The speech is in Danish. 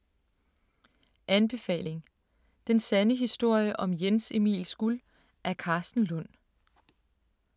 Anbefaling: Den sande historie om Jens Emils guld af Karsten Lund